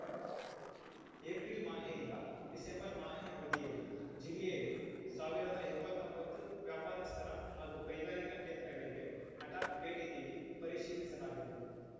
April ಮಾಹೆಯಿಂದ December ಮಾಹೆ ಅವಧಿಯಲ್ಲಿ ಜಿಲ್ಲೆಯಲ್ಲಿ ಸಾವಿರದ ಇಪ್ಪತ್ತೊಂಬತ್ತು ವ್ಯಾಪಾರಸ್ಥರ ಹಾಗೂ ಕೈಗಾರಿಕಾ ಕೇಂದ್ರಗಳಿಗೆ ಹಠಾತ್‌ ಭೇಟಿ ನೀಡಿ ಪರಿಶೀಲಿಸಲಾಗಿದೆ